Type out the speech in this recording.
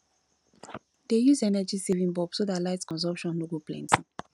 dey use energy saving bulb so dat light consumption no go plenty